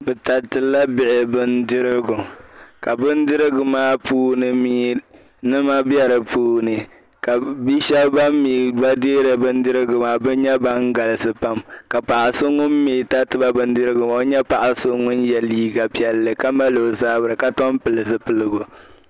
bɛ taritila bihi bindirigu ka bindirigu maa puuni mi nima be di puuni ka bia shebi ban deeri bindirigu maa nyɛ ban galisi pam ka paɣa so ŋun mi tariti ba bindirigu maa o nyɛ paɣa so ŋun ye liiga piɛlli ka mali o zabri ka Tom pili zipiligu